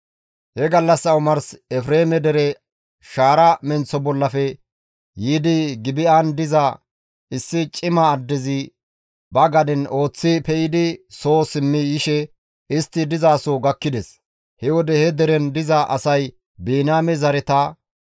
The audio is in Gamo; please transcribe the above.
He gallassa omars Efreeme dere shaara menththo bollafe yiidi Gibi7an diza issi cima addezi ba gaden ooththi pe7idi soo simmi yishe istti dizaso gakkides; he wode he deren diza asay Biniyaame zareta;